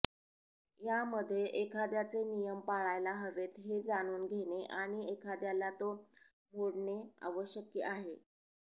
यामध्ये एखाद्याचे नियम पाळायला हवेत हे जाणून घेणे आणि एखाद्याला तो मोडणे आवश्यक आहे